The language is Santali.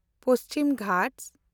ᱯᱚᱪᱷᱤᱢ ᱜᱷᱟᱴᱥ